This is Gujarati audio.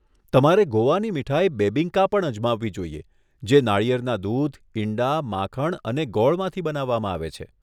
તમારે ગોવાની મીઠાઈ બેબિંકા પણ અજમાવવી જોઈએ જે નાળિયેરના દૂધ, ઇંડા, માખણ અને ગોળમાંથી બનાવવામાં આવે છે.